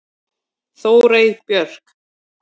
Þórey Björk.